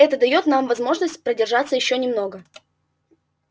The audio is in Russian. это даёт нам возможность продержаться ещё немного